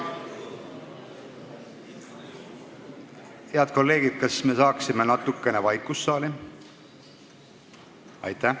Head kolleegid, kas saaks vaikust saali?